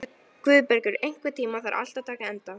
Guðbergur, einhvern tímann þarf allt að taka enda.